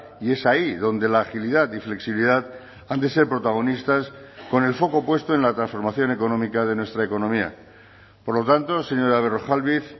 y es ahí donde la agilidad y flexibilidad han de ser protagonistas con el foco puesto en la transformación económica de nuestra economía por lo tanto señora berrojalbiz